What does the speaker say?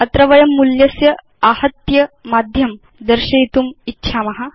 अत्र वयं मूल्यस्य आहत्य माध्यं दर्शयितुम् इच्छाम